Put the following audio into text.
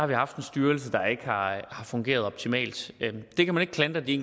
vi haft en styrelse der ikke har fungeret optimalt det kan man ikke klandre de